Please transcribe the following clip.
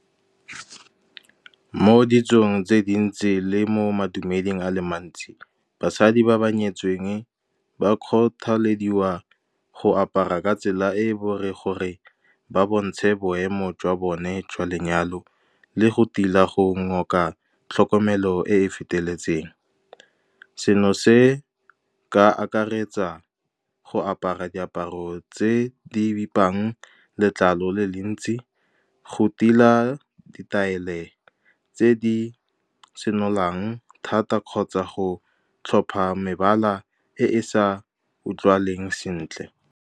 Mo ditsong tse dintsi le mo madumeding a le mantsi, basadi ba ba nyetsweng ba kgothalediwa go apara ka tsela e e , gore ba bontshe boemo jwa bone jwa lenyalo le go tila go ngoka tlhokomelo e e feteletseng. Seno se ka akaretsa go apara diaparo tse di bipang letlalo le le ntsi, go tila ditaele tse di senolang thata, kgotsa go tlhopha mebala e e sa utlwaleng sentle.